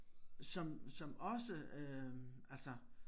Som som også øh altså